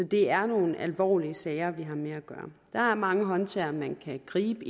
det er nogle alvorlige sager vi har med at gøre der er mange håndtag man kan gribe